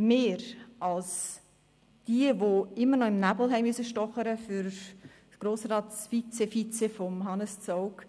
Wir als die, die immer noch im Nebel stochern mussten für das «Grossratsvizevizepräsidium» von Hannes Zaugg,